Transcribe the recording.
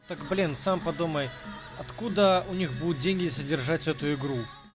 так блин сам подумай откуда у них будут деньги содержать эту игру